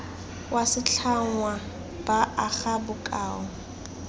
wa setlhangwa ba aga bokao